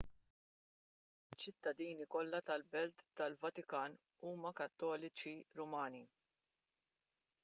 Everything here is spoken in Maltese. iċ-ċittadini kollha tal-belt tal-vatikan huma kattoliċi rumani